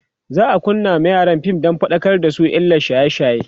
za'a kunna ma yaran fim Dan faɗakar da su kan illan shaye shaye